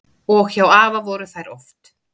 Og hjá afa voru þær oft.